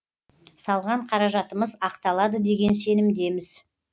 салған қаражатымыз ақталады деген сенімдеміз